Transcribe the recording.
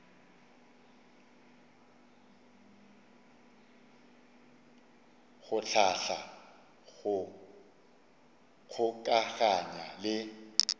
go hlahla go kgokaganya le